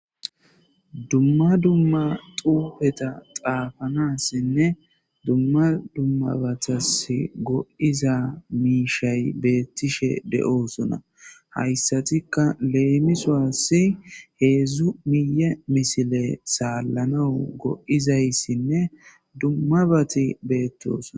dumma dumma xuufeta xaafanassinne dumma dummabatas go7iza miishay beettishe de7osuna hayssatikka leemisoasi heedzdzu miye misile saallanau go7izayssinne dummabati beettosna